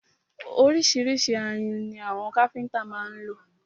Ọríṣiríṣi ayùn ni àwọn káfíńńtà má ń lò.